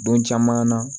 Don caman na